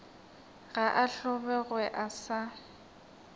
ga a hlobogwe a sa